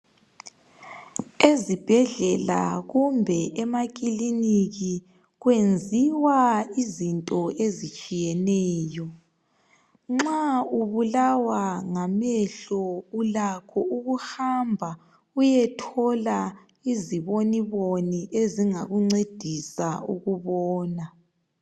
Ezibhedlela kumbe emakilinika kwenziwa izinto ezitshiyeneyo. Nxa ubulawa ngamehlo ulakho ukuhamba uyethola iziboniboni ezingakuncedisa ukubona.